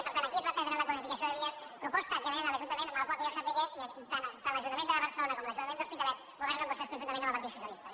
i per tant aquí es va perdre la quadruplicació de vies proposta que ve de l’ajuntament els quals que jo sàpiga tant l’ajuntament de barcelona com l’ajuntament de l’hospitalet governen vostès conjuntament amb el partit dels socialistes